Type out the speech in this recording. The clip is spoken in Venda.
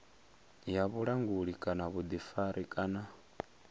ya vhulanguli kana vhuḓifari kana